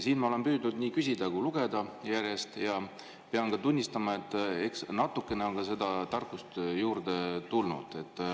Siin ma olen püüdnud nii küsida kui ka lugeda ja pean tunnistama, et natukene on tarkust juurde tulnud.